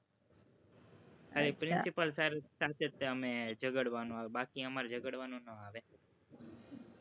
ખાલી principal sir સાથે જ અમે ઝઘડવાનું આવે બાકી અમારે ઝઘડવાનું નો આવે.